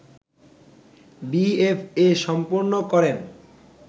BFA সম্পন্ন করেন